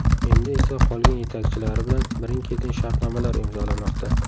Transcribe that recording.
Endi esa qolgan yetakchilari bilan birin-ketin shartnomalar imzolamoqda.